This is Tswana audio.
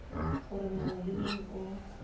gore mongwe le mongwe o